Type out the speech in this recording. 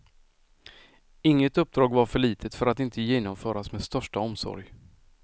Inget uppdrag var för litet för att inte genomföras med största omsorg.